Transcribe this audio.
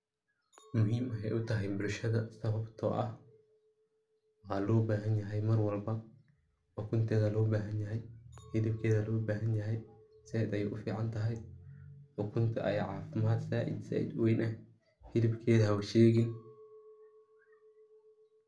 Muhiim ayeey utahay bulshada sababta oo ah, waa loo bahan yahay marwalba, ukunteeda loo bahan yahay, hilibkeeda loo bahan yahay, sait ayeey ufican tahay, ukunta ayaa cafimaad sait sait uweyn ah, hilibkeeda haba sheegin.